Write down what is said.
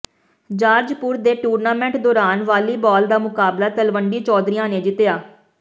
ਜਾਰਜਪੁਰ ਦੇ ਟੂਰਨਾਮੈਂਟ ਦੌਰਾਨ ਵਾਲੀਬਾਲ ਦਾ ਮੁਕਾਬਲਾ ਤਲਵੰਡੀ ਚੌਧਰੀਆਂ ਨੇ ਜਿੱਤਿਆ